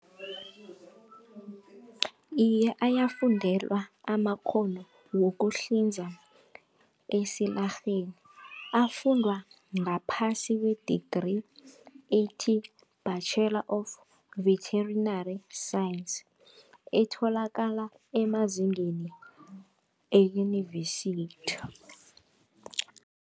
Iye, ayafundelwa amakghono wokuhlinza esilarheni afundwa ngaphasi kwe-degree ethi-Bachelor of Vetinary Science, etholakala emazingeni eyunivesithi.